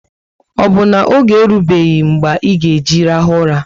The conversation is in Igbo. O bu na oge erubeghi mgbe e ga eji rahu ụra?